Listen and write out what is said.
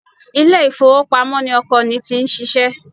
Ilé ifowopamo ni ọkọ ni ti ń ṣíṣe.